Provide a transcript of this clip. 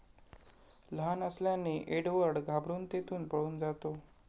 लहान असल्याने एडवर्ड घाबरून तेथून पळून जातो.